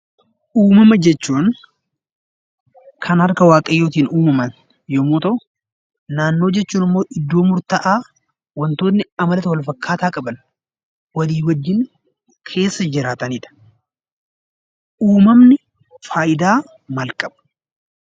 Uumamaa jechuun; Kan harkaa waaqayyoottin uumamaan yommuu ta'u, naannoo jechuun immoo iddoo murta'aa watootni amaloota Wal fakkaataa qaban Walii wajjin keessa jiraatanidha. Uumamni faayidaa maal qaba?